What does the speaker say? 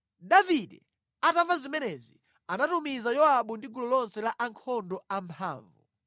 Davide atamva zimenezi, anatumiza Yowabu ndi gulu lonse la ankhondo amphamvu.